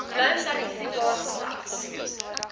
blou sertifikaat slegs